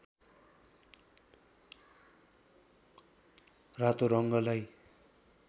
रातो रङ्गलाई